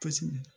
Paseke